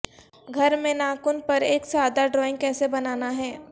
گھر میں ناخن پر ایک سادہ ڈرائنگ کیسے بنانا ہے